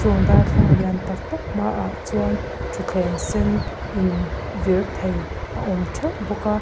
chung darthlalang lian taktak hmaah chuan thuthleng sen in vir thei a awm theuh bawk a.